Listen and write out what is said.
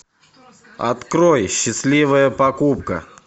открой счастливая покупка